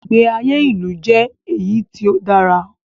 Ìgbé ayé ilu jẹ́ èyí tí o dára.